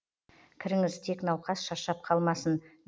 кіріңіз тек науқас шаршап қалмасын